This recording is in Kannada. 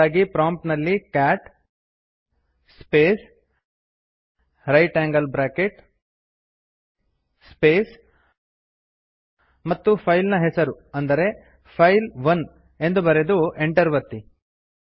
ಅದಕ್ಕಾಗಿ ಪ್ರಾಂಪ್ಟ್ ನಲ್ಲಿ ಕ್ಯಾಟ್ ಸ್ಪೇಸ್ ಜಿಟಿಯ ಸ್ಪೇಸ್ ಮತ್ತು ಫೈಲ್ ನ ಹೆಸರು ಅಂದರೆ ಫೈಲ್ 1 ಎಂದು ಬರೆದು ಎಂಟರ್ ಒತ್ತಿ